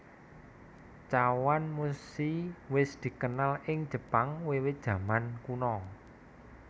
Chawanmushi wis dikenal ing Jepang wiwit jaman kuno